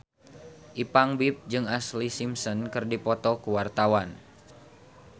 Ipank BIP jeung Ashlee Simpson keur dipoto ku wartawan